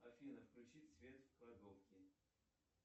афина включить свет в кладовке